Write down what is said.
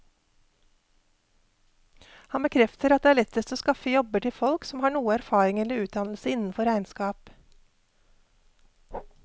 Han bekrefter at det er lettest å skaffe jobber til folk som har noe erfaring eller utdannelse innenfor regnskap.